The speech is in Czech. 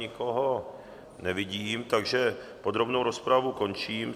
Nikoho nevidím, takže podrobnou rozpravu končím.